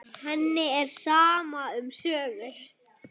Henni er sama um sögur.